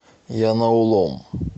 янаулом